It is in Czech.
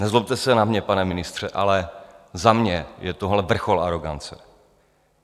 Nezlobte se na mě, pane ministře, ale za mě je tohle vrchol arogance.